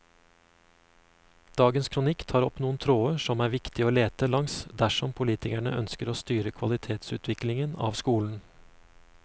Dagens kronikk tar opp noen tråder som er viktig å lete langs dersom politikerne ønsker å styre kvalitetsutviklingen av skolen.